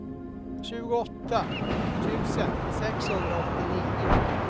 tjugoåtta tusen sexhundraåttionio